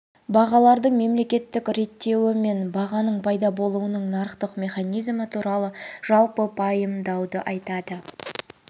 бағалардың мемлекеттік реттеуі мен бағаның пайда болуының нарықтық механизмі туралы жалпы пайымдауды айтады